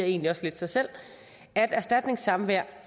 egentlig også lidt sig selv at erstatningssamvær